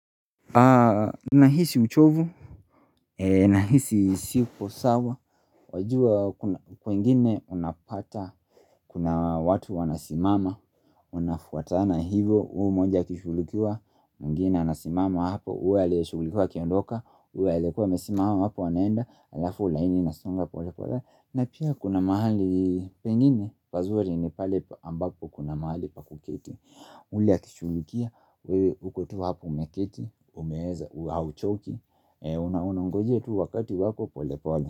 Nahisi uchovu Nahisi sipo sawa Wajua kwengine unapata Kuna watu wanasimama unafuatana hivyo huu moja akishugulikiwa mwingine anasimama hapo uwe aliyeshugulikiwa akiondoka uwe aliekua amesimama hapo wanaenda alafu ulaini nasonga na pia kuna mahali pengine pazuri ni pale ambapo kuna mahali pakuketi uli akishugulikia, uko tu hapu umeketi, umeheza, hauchoki Unaongojea tu wakati wako pole pole.